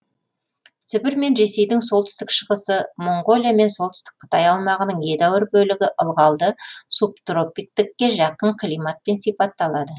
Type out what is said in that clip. сібір мен ресейдің солтүстік шығысы моңғолия мен солтүстік қытай аумағының едәуір бөлігі ылғалды субтропиктікке жақын климатпен сипатталады